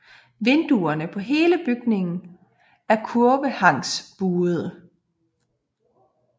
Vinduerne på hele bygningen er kurvehanksbuede